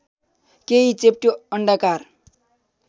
केही चेप्टो अण्डाकार